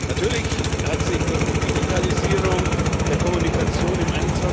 Natürlich hat sich durch die Digitalisierung der Kommunikation im